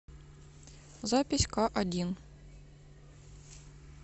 запись каодин